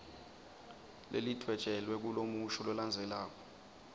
lelidvwetjelwe kulomusho lolandzelako